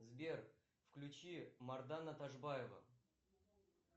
сбер включи мардана ташбаева